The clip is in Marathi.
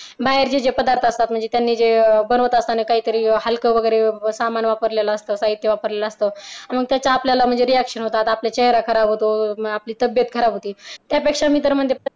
बाहेरचे जे पदार्थ असतात म्हणजे त्यांनी जे बनवत असताना काहीतरी हलक वगैरे सामान वापरलेलं असतं. साहित्य वापरलेलं असतं. मग त्याच्या आपल्याला reaction होतात आपला चेहरा खराब होतो आपली तब्येत खराब होते त्यापेक्षा मी तर म्हणते